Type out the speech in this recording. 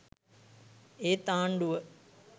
ඒත් ආණ්ඩුව.